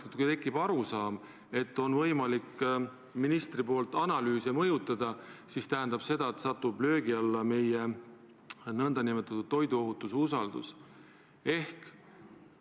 Kui tekib arusaam, et ministril on võimalik analüüse mõjutada, siis tähendab see seda, et meie toiduohutuse usaldusväärsus satub löögi alla.